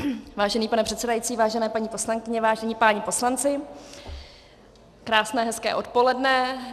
Vážený pane předsedající, vážené paní poslankyně, vážení páni poslanci, krásné, hezké odpoledne.